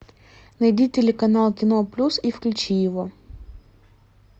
найди телеканал кино плюс и включи его